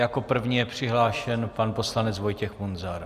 Jako první je přihlášen pan poslanec Vojtěch Munzar.